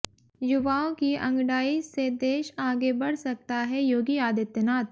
युवाओं की अंगडाई से देश आगे बढ़ सकता हैः योगी आदित्यनाथ